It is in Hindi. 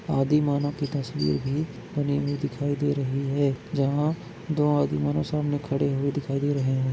आदिमानव की तस्वीर भी बनी हुई दिखाई दे रही है जहाँ दो आदिमानव सामने खड़े हुए दिखाई दे रहे हैं।